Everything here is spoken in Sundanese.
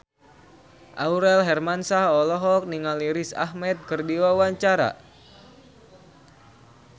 Aurel Hermansyah olohok ningali Riz Ahmed keur diwawancara